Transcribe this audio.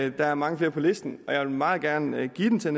og der er mange flere på listen jeg vil meget gerne give den til